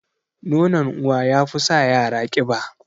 Nonon uwa yafi sa yara ƙiba